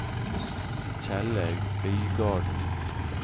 Kjellaug Øygarden